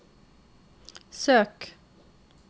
søk